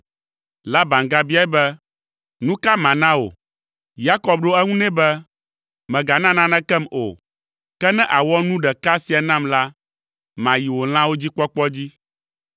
Laban gabiae be, “Nu ka mana wò?” Yakob ɖo eŋu nɛ be, “Mègana nanekem o. Ke ne àwɔ nu ɖeka sia nam la, mayi wò lãwo dzi kpɔkpɔ dzi.